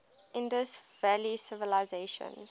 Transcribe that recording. indus valley civilisation